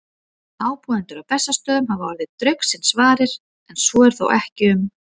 Ábúendur á Bessastöðum hafa orðið draugsins varir, en svo er þó ekki um